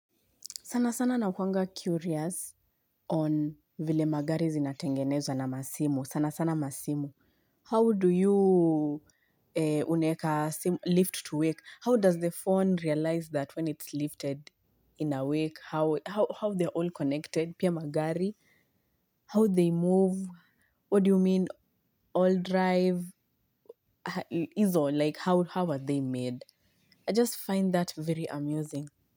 Sana sana nakuanga curious on vile magari zinatengenezwa na masimu. Sana sana masimu. How do you unaweka lift to wake? How does the phone realize that when it's lifted in a wake, how they're all connected? Pia magari, how they move? What do you mean all drive? Hizo, like how are they made? I just find that very amusing.